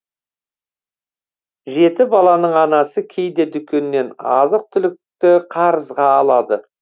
жеті баланың анасы кейде дүкеннен азық түлікті қарызға алады